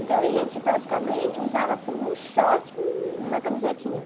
Então, a gente praticamente usava assim, um short e uma camisetinha.